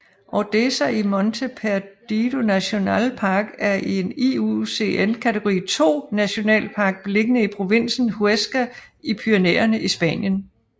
Ordesa y Monte Perdido National Park er en IUCN kategori II nationalpark beliggende i provinsen Huesca i Pyrenæerne i Spanien